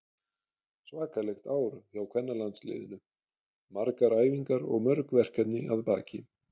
Svakalegt ár hjá kvennalandsliðinu, margar æfingar og mörg verkefni að baki.